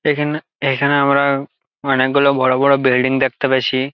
এইখান এইখানে আমরা অনকেগুলো বড়ো বড়ো বিল্ডিং দেখতে পেয়েছি।